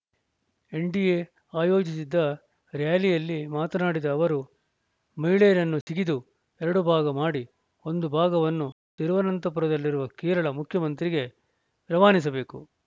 NDA ಆಯೋಜಿಸಿದ್ದ ರ್ಯಾಲಿಯಲ್ಲಿ ಮಾತನಾಡಿದ ಅವರು ಮಹಿಳೆಯರನ್ನು ಸಿಗಿದು ಎರಡು ಭಾಗ ಮಾಡಿ ಒಂದು ಭಾಗವನ್ನು ತಿರುವನಂತಪುರದಲ್ಲಿರುವ ಕೇರಳ ಮುಖ್ಯಮಂತ್ರಿಗೆ ರವಾನಿಸಬೇಕು